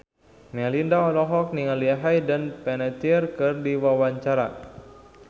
Melinda olohok ningali Hayden Panettiere keur diwawancara